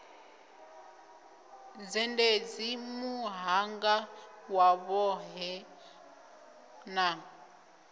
zhendedzi muhanga wa vhohe na